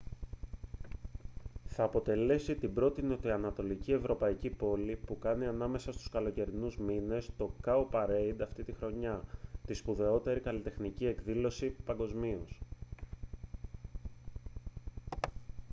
θα αποτελέσει την πρώτη νοτιοανατολική ευρωπαϊκή πόλη που θα κάνει ανάμεσα στους καλοκαιρινούς μήνες το cowparade αυτήν τη χρονιά τη σπουδαιότερη καλλιτεχνική εκδήλωση παγκοσμίως